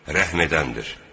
Rəhm edəndir.